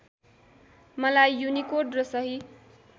मलाई युनिकोड र सही